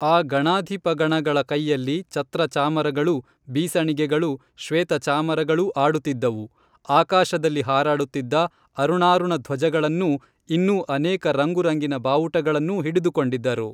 ಆ ಗಣಾಧಿಪಗಣಗಳ ಕೈಯಲ್ಲಿ ಛತ್ರ ಚಾಮರಗಳೂ ಬೀಸಣಿಗೆಗಳೂ ಶ್ವೇತ ಚಾಮರಗಳೂ ಆಡುತ್ತಿದ್ದವು ಆಕಾಶದಲ್ಲಿ ಹಾರಾಡುತ್ತಿದ್ದ ಅರುಣಾರುಣಧ್ವಜಗಳನ್ನೂ ಇನ್ನೂ ಅನೇಕ ರಂಗು ರಂಗಿನ ಬಾವುಟಗಳನ್ನೂ ಹಿಡಿದುಕೊಂಡಿದ್ದರು